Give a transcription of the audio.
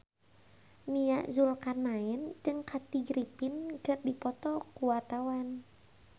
Nia Zulkarnaen jeung Kathy Griffin keur dipoto ku wartawan